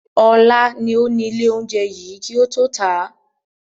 Ọlá ni ó ní ilé oúnjẹ yìí kì ó tó ta.